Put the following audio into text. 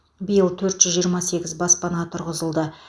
биыл төрт жүз жиырма сегіз баспана тұрғызылды